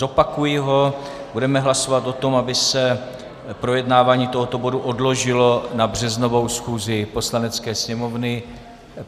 Zopakuji ho, budeme hlasovat o tom, aby se projednávání tohoto bodu odložilo na březnovou schůzi Poslanecké sněmovny.